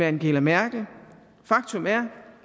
angela merkel faktum er